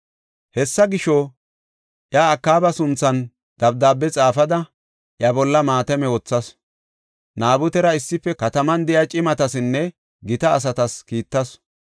Hessa gisho, iya Akaaba sunthan dabdaabe xaafada, iya bolla maatame wothasu. Naabutera issife kataman de7iya cimatasinne gita asatas kiittasu.